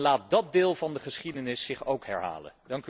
Laat dat deel van de geschiedenis zich ook herhalen.